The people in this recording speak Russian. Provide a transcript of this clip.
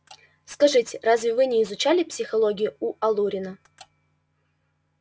скажите разве вы не изучали психологию у алурина